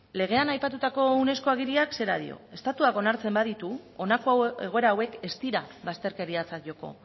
legean aipatutako unesco agiriak zera dio estatuak onartzen baditu honako egoera hauek ez dira bazterkeriatzat joko